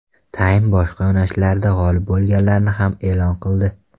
Time boshqa yo‘nalishlarda g‘olib bo‘lganlarni ham e’lon qildi.